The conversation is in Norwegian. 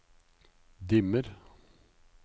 dimmer